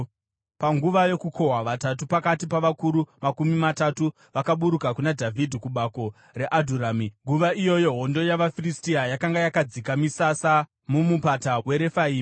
Panguva yokukohwa, vatatu pakati pavakuru makumi matatu vakaburuka kuna Dhavhidhi kubako reAdhurami, nguva iyoyo hondo yavaFiristia yakanga yakadzika misasa muMupata weRefaimi.